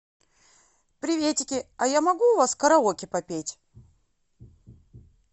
приветики а я могу у вас караоке попеть